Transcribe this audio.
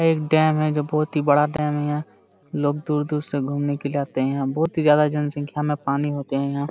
यह एक डैम है जो बहुत ही बड़ा डैम है यहां लोग दूर-दूर से घूमने के लिए आते है यहां बहुत ही ज्यादा जनसंख्या में पानी होते है यहां